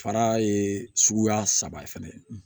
Fara ye suguya saba ye fɛnɛ